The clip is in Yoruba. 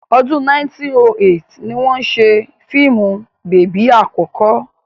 Ọdún 1908 ni wọ́n ṣe fíìmù bèbí àkọ́kọ́.